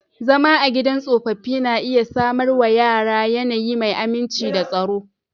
Zama a gidan tsofaffi na iya samar wa yara yanayi mai aminci da tsaro.